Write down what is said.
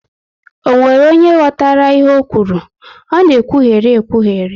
Ọ nwere onye ghọtara ihe ọ kwuru? Ọ na ekwugheri ekwugheri